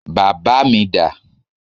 Bàbá mi dà?